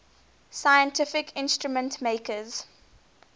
scientific instrument makers